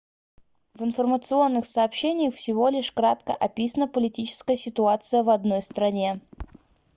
в информационных сообщениях всего лишь кратко описана политическая ситуация в одной стране